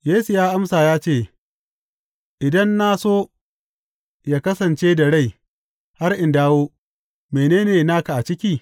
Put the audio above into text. Yesu ya amsa ya ce, Idan na so yă kasance da rai har in dawo, mene ne naka a ciki?